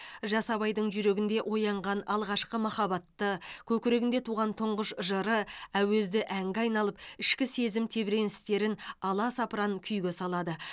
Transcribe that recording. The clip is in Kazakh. жас абайдың жүрегінде оянған алғашқы махаббаты көкірегінде туған тұңғыш жыры әуезді әнге айналып ішкі сезім тебіреністерін аласапыран күйге салады